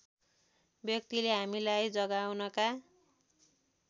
व्यक्तिले हामीलाई जगाउनका